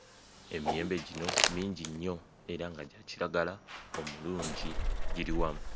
Emiyembe gino mingi nnyo era nga gya kiragala omulungi giri wamu.